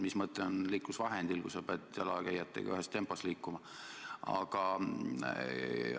Mis mõte on liiklusvahendil, kui sa pead jalakäijatega ühes tempos liikuma?